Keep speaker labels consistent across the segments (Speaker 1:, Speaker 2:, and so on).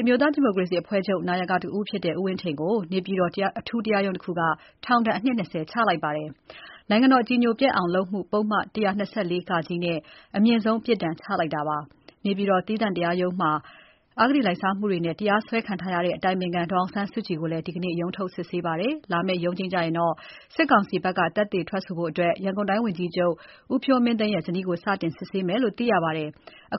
Speaker 1: အမျိုးသားဒီမိုကရေစီအဖွဲချုပ် (NLD) နာယက ဦးဝင်းထိန်ကို နေပြည်တော်တရားရုံးတခုက ထောင်ဒဏ် အနှစ် ၂၀ ချလိုက်ပါတယ်။ နိုင်ငံတော်အကြည်ညိုပျက်အောင်လုပ်မှု ပုဒ်မ ၁၂၄ - က နဲ့အမြင့်ဆုံးပြစ်ဒဏ် ချလိုက်တာပါ။ နေပြည်တော် သီးသန့်တရားရုံးမှာ အဂတိလိုက်စားမှုတွေနဲ့ တရားစွဲခံထားရတဲ့ အတိုင်ပင်ခံ ဒေါ်အောင်ဆန်းစုကြည်ကိုလည်း ဒီနေ့ ရုံးထုတ် စစ်ဆေးပါတယ်။ လာမယ့် ရုံးချိန်းကျရင် စစ်ကောင်စီဘက်က သက်သေထွက်ဆိုဖို့ ရန်ကုန်တိုင်းဝန်ကြီးချုပ် ဦးဖြိုးမင်းသိန်းရဲ့ ဇနီးကို စတင်စစ်ဆေးမယ်လို့ သိရပါတယ်။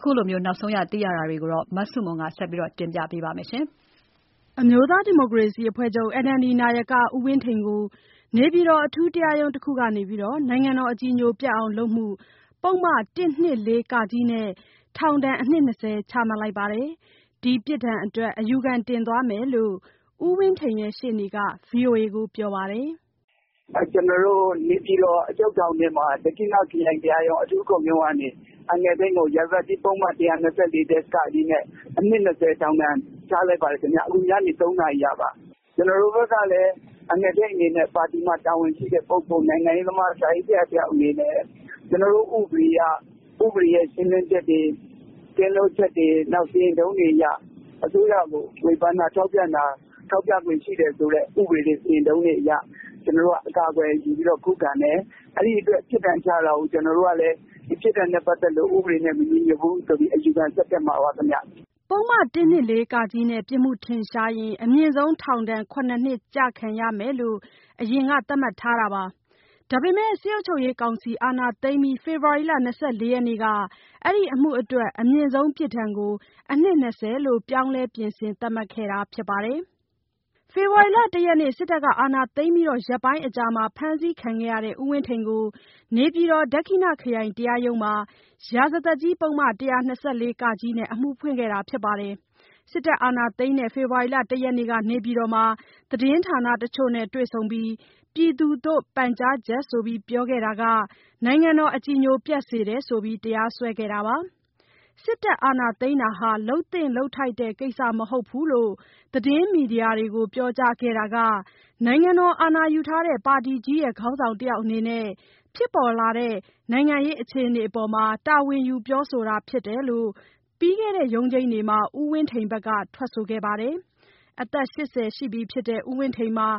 Speaker 1: ဒီလိုနောက်ဆုံးရသတင်းတွေကို မဆုမွန်က တင်ပြပေးထားပါတယ်။ အမျိုးသားဒီမိုကရေစီအဖွဲ့ချုပ် (NLD) နာယက ဦးဝင်းထိန်ကို နေပြည်တော် အထူးတရားရုံးတခုက နိုင် ငံတော်အကြည်ညိုပျက်အောင်လုပ်မှု ပုဒ်မ ၁၂၄ - ကနဲ့ထောင်ဒဏ်အနှစ် ၂၀ ချမှတ်လိုက်ပါတယ်။ ဒီပြစ်ဒဏ်အတွက် အယူခံတင်သွားမယ်လို့ ဦးဝင်းထိန်ရဲ့ ရှေ့နေက ဗီအိုအေကို ပြောပါတယ်။ “
Speaker 2: နေပြည်တော်အချုပ်ထောင်ထဲမှာ ဒက္ခိဏခရိုင်တရားရုံး အထူးခုံရုံးကနေ အန်ကယ်ထိန်ကို ရာဇသတ်ကြီးပုဒ်မ ၁၂၄-ကနဲ့ အနှစ် ၂၀ထောင်ဒဏ်ချပါတယ်။ ညနေ ၃ နာရီကပါ။ ကျနော်တို့ဘက်ကလည်း ပါတီမှာ တာဝန်ရှိတဲ့ပုဂ္ဂိုလ် နိုင်ငံရေးသမား၊ စာရေးဆရာအနေနဲ့ ကျနော်တို့ဥပဒေအရ ဥပဒေရဲ့ရှင်းလင်းချက်တွေ၊ ကင်းလွတ်ချက်တွေ၊ စီရင်ထုံးတွေအရ အစိုးရကို ဝေဖန်တာ၊ ထောက်ပြတာ၊ ထောက်ပြခွင့်ရှိတယ်ဆိုတဲ့ စီရင်ထုံးတွေအရ အကာအကွယ်ယူ ခုခံတယ်။ အဲဒီအတွက် ပြစ်ဒဏ်ချတာကို ကျနော်တို့ ကလည်း ဒီပြစ်ဒဏ်နဲ့ ပတ်သက်လို့ ဥပဒေနဲ့ မညီညွတ်ဘူးဆိုပြီး အယူခံဆက်တက်မှာပါခင်ဗျ။
Speaker 1: ” ပုဒ်မ ၁၂၄-က နဲ့ ပြစ်မှုထင်ရှားရင် အမြင့်ဆုံး ထောင်ဒဏ် ၇ နှစ် ကျခံရမယ်လို့ အရင်က သတ်မှတ်ထားတာပါ။ ဒါပေမဲ့စစ်အုပ်ချုပ်ရေးကောင်စီ အာဏာသိမ်းပြီး ဖေဖော်ဝါရီ ၂၄ ရက်နေ့က အဲဒီအမှုအတွက် အမြင့်ဆုံးပြစ်ဒဏ်ကို အနှစ် ၂၀ လို့ ပြောင်းလဲ ပြင်ဆင်သတ်မှတ်ခဲ့တာဖြစ်ပါတယ်။ ဖေဖော်ဝါရီ ၁ ရက်နေ့ အာဏာသိမ်းပြီး ရက်ပိုင်းအကြာမှာ ဖမ်းဆီးခံခဲ့ရတဲ့ ဦးဝင်းထိန်ကို နေပြည်တော် ဒက္ခိဏခရိုင်တရားရုံးမှာ ရာဇသတ်ကြီး ပုဒ်မ ၁၂၄-က နဲ့ အမှုဖွင့်ခဲ့တာဖြစ်ပါတယ်။စစ်တပ်အာဏာသိမ်းတဲ့ ဖေဖော်ဝါရီ ၁ ရက်က နေပြည်တော်မှာ သတင်းဌာနတချိုနဲ့တွေ့ဆုံပြီး “ပြည်သူသို့ပန်ကြားချက်” ဆိုပြီး ပြောခဲ့တာက နိုင်ငံတော်အကြည်ညိုပျက်စေတယ်ဆိုပြီး တရားစွဲခဲ့တာပါ။ စစ်တပ်အာဏာသိမ်းတာဟာ လုပ်သင့်လုပ်ထိုက်တဲ့ ကိစ္စမဟုတ်ဘူးလို့ သတင်းမီဒီယာတွေကို ပြောကြားခဲ့တာက နိုင်ငံတော်အာဏာယူထားတဲ့ ပါတီကြီးရဲ့ ခေါင်းဆောင်တယောက်အနေနဲ့ ဖြစ်ပေါ်လာတဲ့ နိုင်ငံရေးအခြေအနေပေါ် တာဝန်ယူ ပြောဆိုတာဖြစ်တယ်လို့ ပြီးခဲ့တဲ့ရုံးချိန်းတွေမှာ ဦးဝင်းထိန်ဘက်က ထွက်ဆိုခဲ့ပါတယ်။ အသက် ၈၀ ရှိပြီဖြစ်တဲ့ ဦးဝင်းထိန်ဟာ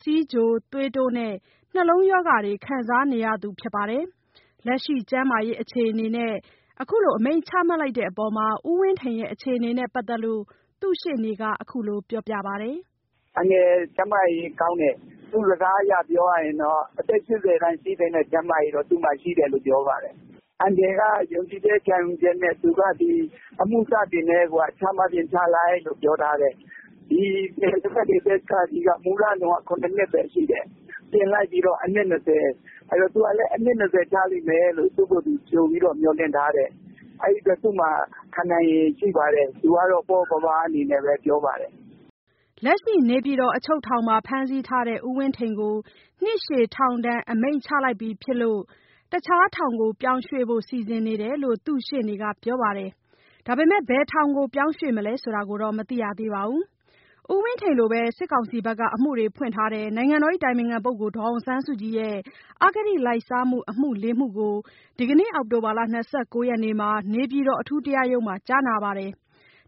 Speaker 1: ဆီးချို၊ သွေးတိုးနဲ့ နှလုံးရောဂါတွေ ခံစားနေရသူဖြစ်ပါတယ်။ လက်ရှိကျန်းမာရေးအခြေအနေနဲ့ အမိန့်ချတဲ့အပေါ် ဦးဝင်းထိန်အခြေအနေနဲ့ပတ်သတ်လို့ သူ့ရှေ့နေကခုလိုပြောပြပါတယ်။
Speaker 2: “အန်ကယ်ကျန်းမာရေးကောင်းတယ်။ သူ့စကားအရပြောရရင်တော့ အသက် ၈၀ အရွယ်တန်း ရှိသင့်တဲ့ ကျန်းမာရေးရှိတယ်လို့ပြောပါတယ်။ အန်ကယ်က ယုံကြည်ချက်ခံယူချက်နဲ့ သူကဒီအမှုစတင်ကတည်းကချမှတ်ချင် ချလိုက်လို့ပြောထားတယ်။ ဒီ ၁၂၄-က က မူလက ၇ နှစ်ပဲရှိတယ်။ ပြင်လိုက်တော့ အနှစ် ၂၀။ သူကတော့ အနှစ်၂၀ ချမယ်လို့ သူ့ကိုယ်သူကြိုမျှော်လင့်ထားတယ်။ အဲဒီအတွက် သူ့မှာခံနိုင်ရည်ရှိပါတယ်။ အဲဒီအတွက် သူကတော့ ပေါ့ပေါ့ပါးပါးပြောပါတယ်။
Speaker 1: ” လက်ရှိ နေပြည်တော် အချုပ်ထောင်မှာ ဖမ်းဆီးထားတဲ့ ဦးဝင်းထိန်ကို နှစ်ရှည် ထောင်ဒဏ်အမိန့်ချလိုက်ပြီမို့ တခြားထောင်ကိုပြောင်းရွှေ့ဖို့ စီစဉ်နေတယ်လို့ သူ့ရှေ့နေကပြောပါတယ်။ ဘယ်ထောင်ပြောင်းမလဲဆိုတာတော့ မသိရသေးပါဘူး။ ဦးဝင်းထိန်လိုပဲ စစ်ကောင်စီက အမှုတွေဖွင့်ထားတဲ့ နိုင်ငံတော်အတိုင်ပင်ခံ ဒေါ်အောင်ဆန်းစုကြည်ရဲ့ အဂတိလိုက်စားမှု အမှု ၄ မှုကို ဒီနေ့ အောက်တိုဘာ ၂၉ ရက်မှာ နေပြည်တော်အထူးတရားရုံးမှာ ကြားနာခဲ့ပါတယ်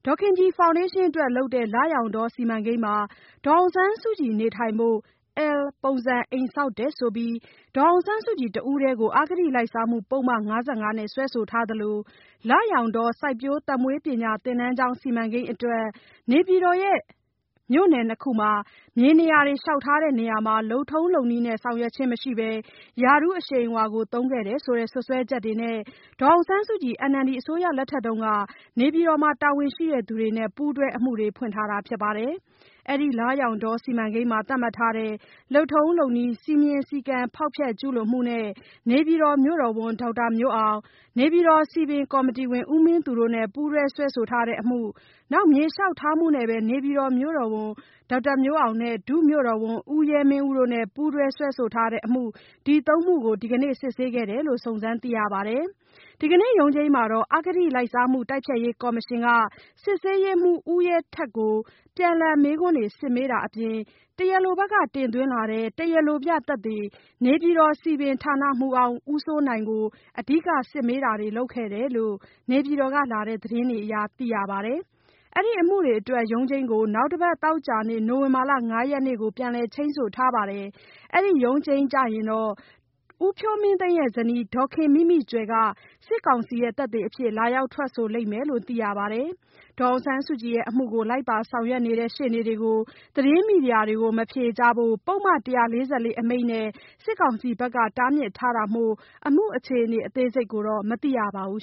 Speaker 1: ။ ဒေါ်ခင်ကြည်ဖောင်ဒေးရှင်းအတွက် လုပ်တဲ့ လရောင်တော စီမံကိန်းထဲမှာ ဒေါ်အောင်ဆန်းစုကြည် နေထိုင်ဖို့ အယ်လ်ပုံစံ အိမ်ဆောက်တယ်ဆိုပြီး ဒေါ်အောင်ဆန်းစုကြည်တဦးတည်းကို အဂတိလိုက်စားမှု ပုဒ်မ ၅၅ နဲ့ စွပ်စွဲထားသလိုလရောင်တော စိုက်ပျိုးသက်မွေးပညာ သင်တန်းကျောင်း စီမံကိန်းအတွက် နေပြည်တော် ပြည်နယ် ၂ ခုမှာ မြေနေရာတွေ လျှောက်ထားတဲ့နေရာမှာလည်း လုပ်ထုံးလုပ်နည်းနဲ့ ဆောင် ရွက်ခြင်းမရှိဘဲ ရာထူးအရှိန်အဝါသုံးခဲ့တယ်လို့ စွပ်စွဲချက်တွေနဲ့ဒေါ်အောင်ဆန်းစုကြည် NLD အစိုးရလက်ထက် နေပြည်တော်က တာဝန်ရှိသူတွေနဲ့ ပူးတွဲအမှုတွေ ဖွင့်ထားပါတယ်။ အဲဒီလရောင်တောစီမံကိန်းမှာ သတ်မှတ်ထားတဲ့ လုပ်ထုံး လုပ်နည်း စည်းမျဉ်း စည်းကမ်းဖျောက်ဖျက် ကျူးလွန်မှုနဲ့ နေပြည်တော်မြို့တော်ဝန် ဒေါက်တာမျိုးအောင်၊ နေပြည်တော်စည်ပင်ကော်မတီဝင် ဦးမင်းသူတို့နဲ့ ပူးတွဲစွဲဆိုထားတဲ့ အမှု၊ မြေလျှောက်ထားမှုနဲ့ပဲ နေပြည်တော်မြို့တော်ဝန်ဒေါက်တာမျိုးအောင်နဲ့ ဒုမြို့တော်ဝန် ဦးရဲမင်းဦးတို့နဲ့ ပူးတွဲစွဲဆိုထားတဲ့အမှု ဒီ ၃ မှုကို ဒီကနေ့စစ်ခဲ့တယ်လို့ စုံစမ်းသိရပါတယ်။ ဒီနေ့ရုံးချိန်းမှာ အဂတိလိုက်စားမှု တိုက်ဖျက်ရေး ကော်မရှင်က စစ်ဆေးရေးမှူး ဦးရဲထက်ကို ပြန်လှန်မေးခွန်းတွေစစ်မေးတာ အပြင် တရားလိုဘက်က တင်သွင်းလာတဲ့ တရားလိုပြသက်သေ နေပြည်တော်စည်ပင် ဌာနမှူးဟောင်း ဦးစိုးနိုင်ကို အဓိက စစ်မေးတာတွေလုပ်ခဲ့တယ်လို့ နေပြည်တော်ကလာတဲ့သတင်းတွေအရ သိရပါတယ်။ အဲဒီအမှုတွေအတွက် ရုံးချိန်းကို နောက်တစ်ပတ် သောကြာနေ့ နိုဝင်ဘာ ၅ ရက်ကို ပြန်လည်ချိန်းဆိုထားပါတယ်။ အဲဒီရုံးချိန်းကျရင် ဦးဖြိုးမင်းသိန်းရဲ့ဇနီး ဒေါ်ခင်မိမိကြွယ်က စစ်ကောင်စီသက်သေအဖြစ် လာရောက်ထွက်ဆိုလိမ့်မယ်လို့ သိရပါတယ်။ ဒေါ်အောင်ဆန်းစုကြည်ရဲ့ အမှုကို လိုက်ပါဆောင်ရွက်နေတဲ့ ရှေ့နေတွေကို မီဒီယာတွေကို မဖြေကြားဖို့ ပုဒ်မ ၁၄၄ အမိန့်နဲ့စစ်ကောင်စီဘက်က တားမြစ်ထားတာမို့ အမှုအခြေအနေ အသေးစိတ်ကိုတော့ မသိရပါဘူး